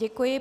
Děkuji.